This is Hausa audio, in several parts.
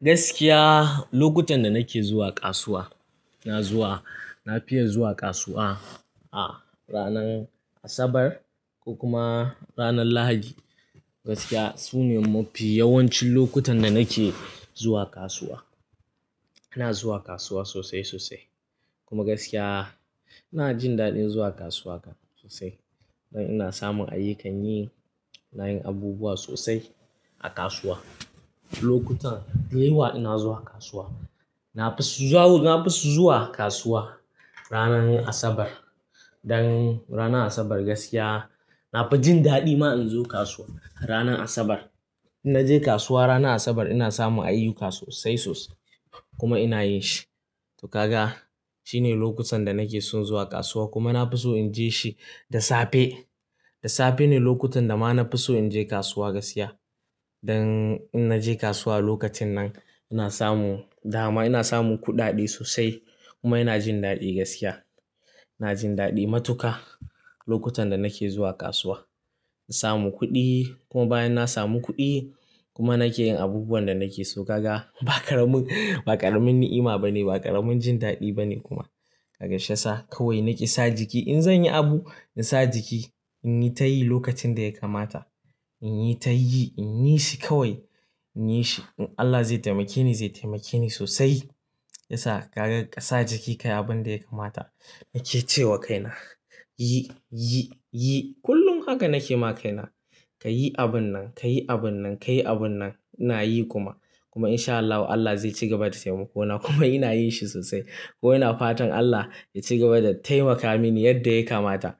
Gaskiya lokutan da nake zuwa kasuwa, na fiya zuwa kasuwa a ranar Asabar ko kuma ranar Lahadi. Gaskiya su ne mafi yawancin lokutan da nake zuwa kasuwa. Ina zuwa kasuwa sosai sosai kuma gaskiya ina jin daɗin zuwa kasuwa sosai. Dan ina samun ayyukan yi, nayin abubuwa sosai a kasuwa. Lokutan da yawa ina zuwa kasuwa. Na fi so zuwa kasuwa ranar Asabar dan ranar Asabar gaskiya na fi jin daɗi ma in zo kasuwa ranar Asabar. In naje kasuwa ranar Asabar ina samun ayyuka sosai sosai kuma ina yin shi. To kaga shine lokutan da nake son zuwa kasuwa kuma na fi so in je shi da safe. Da safe ne lokutan da ma na fi so in je kasuwa gaskiya. Dan in naje kasuwa lokacin nan ina samu dama, ina samun kuɗaɗe sosai kuma ina jin daɗi gaskiya. Ina jin daɗi matuka lokutan da nake zuwa kasuwa. Na samu kuɗi kuma bayan na samu kuɗi kuma nake yin abubuwan da nake so kaga ba ƙaramin, ba ƙaramin ni'ima bane, ba ƙaramin jin daɗi bane kuma. Kaga shasa kawai nake sa jiki in zan yi abu in sa jiki in yi ta yi lokacin da ya kamata, in yi ta yi, in yi shi kawai, in yi shi. Allah zai taimake ni, zai taimake ni sosai. Yasa kaga kasa jiki ka yi abin da ya kamata. Nake ce wa kaina yi, yi, yi kullum haka nake ma kaina ka yi abun nan, ka yi abun nan, ka yi abun nan ina yi kuma. Kuma in sha Allahu Allah zai ci gaba da taimako na kuma ina yin shi sosai. Kuma ina fatan Allah ya ci gaba da taimaka mini yadda ya kamata.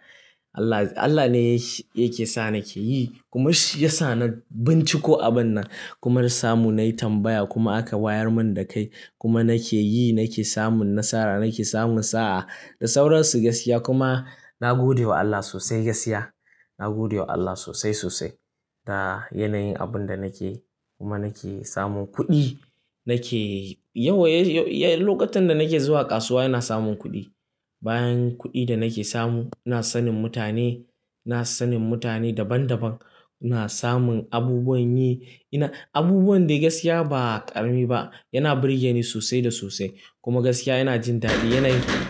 Allah, Allah ne yake sa nake yi kuma shi ya sa na binciko abun nan kuma da samu nayi tambaya kuma aka wayar mun da kai kuma nake yi, nake samun nasara, nake samun sa'a da sauransu gaskiya kuma na gode wa Allah sosai gaskiya. Na gode wa Allah sosai sosai da yanayin abun da nake kuma nake samun kuɗi nake yawan-- lokutan da nake zuwa kasuwa ina samun kuɗi. Bayan kuɗi da nake samu ina sanin mutane, ina sanin mutane daban daban, ina samun abubuwan yi. Abubuwan da gaskiya ba ƙarami ba, yana birge ni sosai da sosai kuma gaskiya yana jin daɗi yanayi.